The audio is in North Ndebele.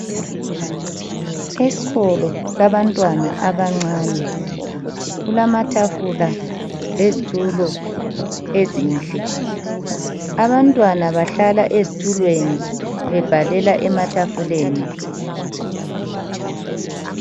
Esikolo sabantwana abancane kulamatafula lezitulo ezinhle. Abantwana bahlala ezitulweni. Bebhalela ematafuleni.